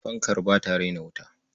Fankar ba ta raina wuta.